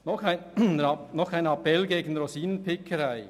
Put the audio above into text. Noch ein Appell gegen die Rosinenpickerei: